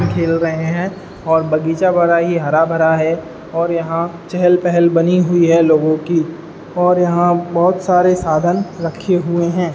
खेल रहै हैं और बगीचा बड़ा ही हरा भरा है और यहां चहल-पहल बनी हुई है लोगों की और यहाँ बहुत सारे साधन रखे हुए हैं।